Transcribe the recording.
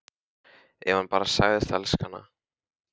Ef hann bara segðist elska hana: